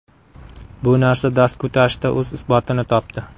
Bu narsa dast ko‘tarishda o‘z isbotini topdi.